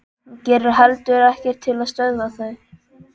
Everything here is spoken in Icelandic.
Hún gerir heldur ekkert til að stöðva þau.